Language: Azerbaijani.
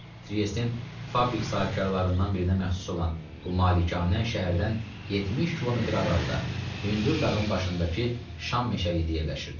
Triestin fabrik sahibkarlarından birinə məxsus olan bu malikanə şəhərdən 70 km aralıda, hündür dağın başındakı şam meşəliyində yerləşirdi.